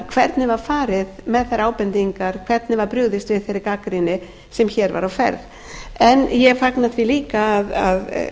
hvernig var farið með þær ábendingar hvernig var brugðist við þeirri gagnrýni sem hér var á ferð en ég fagna því líka að